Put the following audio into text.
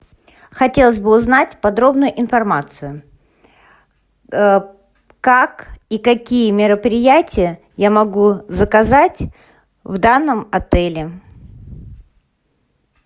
хотелось бы узнать подробно информацию как и какие мероприятия я могу заказать в данном отеле